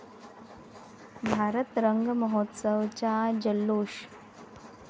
भारत रंग महोत्सवा'चा जल्लोष